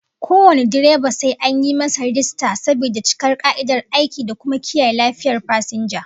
Kowane direba sai an masa rajista saboda cika ka'idar aiki da kuma kiyaye lafiyar fasinja